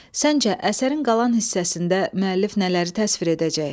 Səncə əsərin qalan hissəsində müəllif nələri təsvir edəcək?